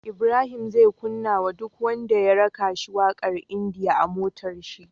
Ibrahim zai kunna wa duk wanda ya raka shi waƙar india a motar shi